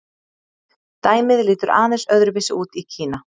Dæmið lítur aðeins öðru vísi út í Kína.